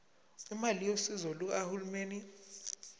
imali yosizo lukahulumeni